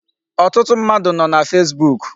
Ọtụtụ mmadụ nọ na Facebook.